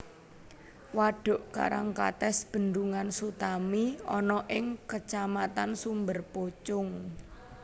Wadhuk Karangkates Bendungan Sutami ana ing Kacamatan Sumberpucung